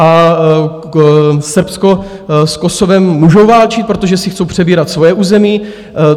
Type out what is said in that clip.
A Srbsko s Kosovem můžou válčit, protože si chtějí přebírat svoje území.